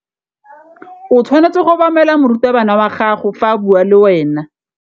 O tshwanetse go obamela morutabana wa gago fa a bua le wena.